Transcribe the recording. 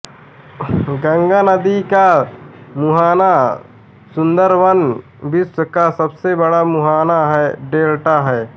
गंगा नदी का मुहाना सुंदरवन विश्व का सबसे बड़ा मुहाना डेल्टा है